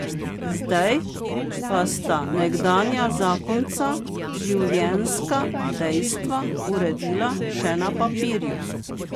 Zdaj pa sta nekdanja zakonca življenjska dejstva uredila še na papirju.